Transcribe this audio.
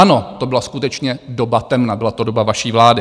Ano, to byla skutečně doba temna, byla to doba vaší vlády.